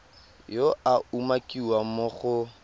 yo a umakiwang mo go